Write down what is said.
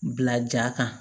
Bila ja kan